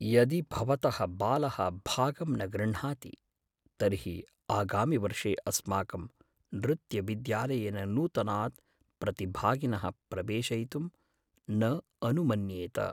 यदि भवतः बालः भागं न गृह्णाति तर्हि आगामिवर्षे अस्माकं नृत्यविद्यालयेन नूतनान् प्रतिभागिनः प्रवेशयितुं न अनुमन्येत।